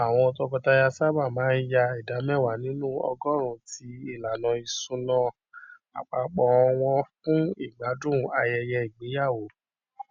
àwọn tọkọtaya sábà máa ń yà ìdá mẹwàá nínú ọgọọrún ti ìlànà isúná àpapọ wọn fún ìgbádùn ayẹyẹ ìgbéyàwó